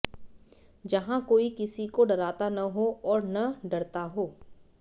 जहां कोई किसी को डराता न हो और न डरता हो